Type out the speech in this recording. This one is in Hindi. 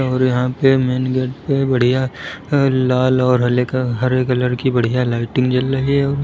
और यहां पे मेन गेट पे बढ़िया लाल और हले कल हरे कलर की बढ़िया लाइटिंग जल रही है।